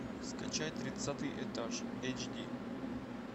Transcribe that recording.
скачай тридцатый этаж эйч ди